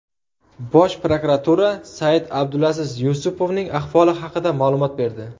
Bosh prokuratura Said-Abdulaziz Yusupovning ahvoli haqida ma’lumot berdi.